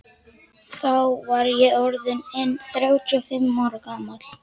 Þá var ég orð inn þrjátíu og fimm ára gamall.